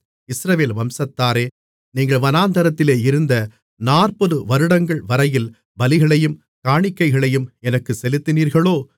இஸ்ரவேல் வம்சத்தாரே நீங்கள் வனாந்திரத்திலே இருந்த நாற்பது வருடங்கள்வரையில் பலிகளையும் காணிக்கைகளையும் எனக்குச் செலுத்தினீர்களோ